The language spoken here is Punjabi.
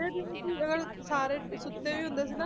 ਅਹ ਸਾਰੇ ਸੁੱਤੇ ਵੀ ਹੁੰਦੇ ਸੀ ਨਾ,